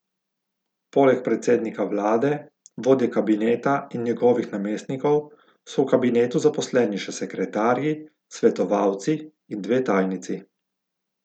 Poleg predsednika vlade, vodje kabineta in njegovih namestnikov so v kabinetu zaposleni še sekretarji, svetovalci in dve tajnici.